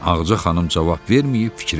Ağaca xanım cavab verməyib fikrə getdi.